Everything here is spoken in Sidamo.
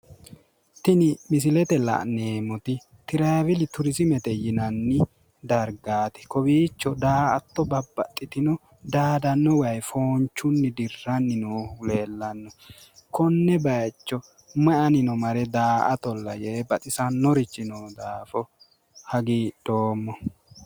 Tini misilete aana la'neemmoti tiraaveli turiziimete yinanni dargaati. Kowiicho daa"atto babbaxxitino daadanno wayi foonchunni dirranni noohu leellanno. Konne bayicho mayi anino mare daa"atolla yee baxisannorichi noo daafo hagiidhoommo.